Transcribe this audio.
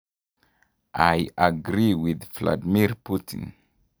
Iagree with Viadimir Putin.